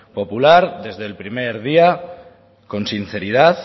popular desde el primer día con sinceridad